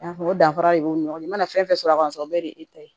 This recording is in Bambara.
Yafa danfara de b'u ni ɲɔgɔn cɛ i mana fɛn fɛn sɔrɔ a kan o bɛɛ de ye e ta ye